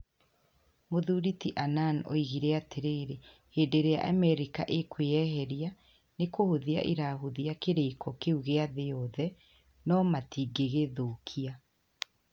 Mũthuri ti Annan oigire atĩrĩrĩ hĩndĩ ĩrĩa Amerika ĩkwĩyeheria ni kũhũthia ĩrahũthia kĩrĩĩko kĩu gĩa thĩ yothe no matingĩgĩthũkia.